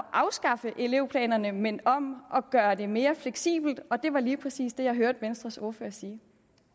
afskaffe elevplanerne men om at gøre det mere fleksibelt og det var lige præcis det jeg hørte venstres ordfører sige